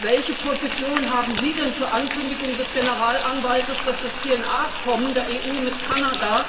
Welche Position haben Sie denn zur Ankündigung des Generalanwaltes, dass das PNR Abkommen der EU mit Kanada